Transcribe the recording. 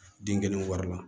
Denkɛnɛnw wari la